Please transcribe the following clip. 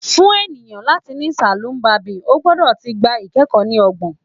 Fun eniyan lati ni saloon barbing, o gbọdọ ti gba ikẹkọ ni ọgbọn